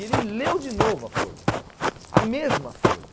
E ele leu de novo a folha, a mesma folha.